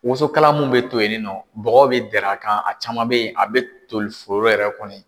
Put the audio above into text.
Woso kala mun be to yen ninɔ ,dɔgɔ bi dɛrɛ a kan a caman be yen a be toli foro yɛrɛ kɔnɔ yen.